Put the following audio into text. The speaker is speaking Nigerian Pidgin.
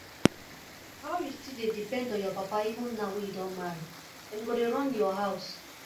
how you still dey depend on your papa even now wey you don marry dem go dey run your house